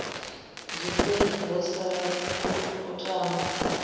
zwiṱefu ho sala u aṱama